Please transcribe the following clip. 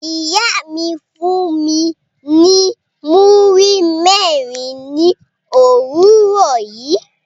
Iya mi fun mi ni muri mẹrin ni owurọ yi